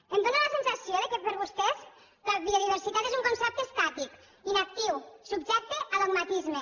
em fa la sensació que per vostès la biodiversitat és un concepte estàtic inactiu subjecte a dogmatisme